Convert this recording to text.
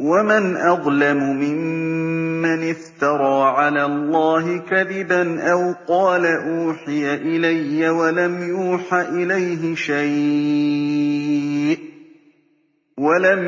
وَمَنْ أَظْلَمُ مِمَّنِ افْتَرَىٰ عَلَى اللَّهِ كَذِبًا أَوْ قَالَ أُوحِيَ إِلَيَّ وَلَمْ